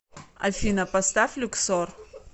афина поставь люксор